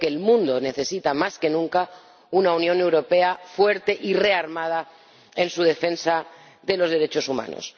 Creo que el mundo necesita más que nunca una Unión Europea fuerte y rearmada en su defensa de los derechos humanos.